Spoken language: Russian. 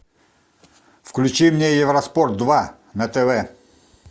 включи мне евроспорт два на тв